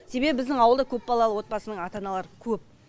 себебі біздің ауылда көп балалы отбасының ата аналары көп